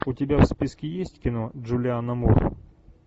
у тебя в списке есть кино джулиана мур